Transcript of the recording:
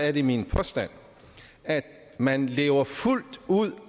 er det min påstand at man lever fuldt ud